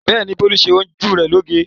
Bẹ́ẹ̀ ni, Bólú ṣe ojú rẹ̀ lóge.